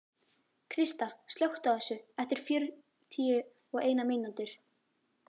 Krista, slökktu á þessu eftir fjörutíu og eina mínútur.